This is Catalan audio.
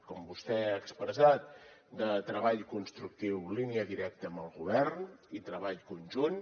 com vostè ha expressat de treball constructiu línia directa amb el govern i treball conjunt